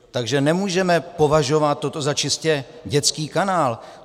Takže nemůžeme považovat toto za čistě dětský kanál.